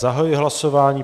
Zahajuji hlasování.